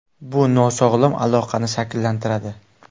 Bu nosog‘lom aloqani shakllantiradi.